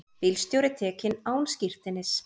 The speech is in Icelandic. Bílstjóri tekinn án skírteinis